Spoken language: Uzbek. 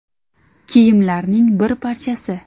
kiyimlarining bir parchasi.